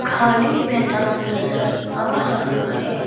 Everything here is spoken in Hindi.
खाली मैदान नजर आ रहा है।